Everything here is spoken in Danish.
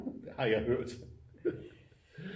Har jeg hørt